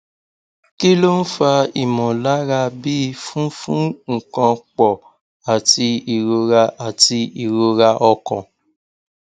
kí ló ń fa imolara bi funfun nkan po àti ìrora àti ìrora ọkàn